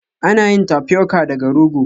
Ana yin Tapioca daga rogo